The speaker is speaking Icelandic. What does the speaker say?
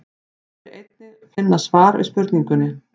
Hér er einnig að finna svar við spurningunni: